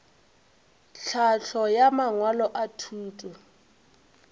tlhahlo ya mangwalo a thuto